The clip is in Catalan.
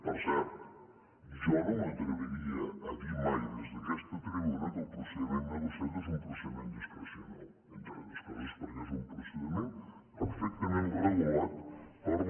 per cert jo no m’atreviria a dir mai des d’aquesta tribuna que el procediment negociat és un procediment discrecional entre altres coses perquè és un procediment perfectament regulat per la